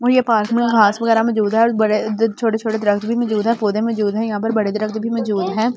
वहीं के पास में घास वगैरा मौजूद है और बड़े छोटे-छोटे दरख़्त भी मौजूद हैं पौधे मौजूद हैं यहां बड़े दरख़्त भी मौजूद हैं ।